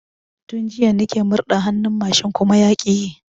Tun jiya nike murɗa hannun mashin kuma yaƙi yi